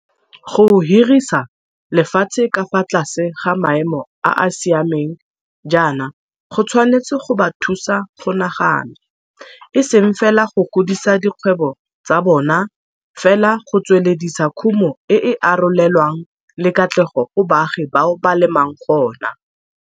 Go hirisa lefatshe ka fa tlase ga maemo a a siameng jaana go tshwanetse go ba thusa go nagana, eseng fela go godisa dikgwebo tsa bona fela go tsweledisa khumo e e arole lwanang le katlego go baagi bao ba lemang gona.